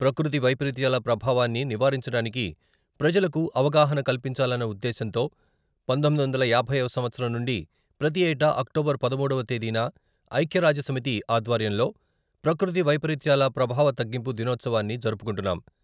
ప్రకృతి వైపరీత్యాల ప్రభావాన్ని నివారించడానికి ప్రజలకు అవగాహన కల్పించాలన్న ఉద్దేశంతో పంతొమ్మిది వందల యాభై వ సంవత్సరం నుండి ప్రతి ఏటా అక్టోబర్ పదమూడువ తేదీన ఐక్యరాజ్యసమితి ఆధ్వర్యంలో ప్రకృతి వైపరీత్యాల ప్రభావతగ్గింపు దినోత్సవాన్ని జరుపుకుంటున్నాం.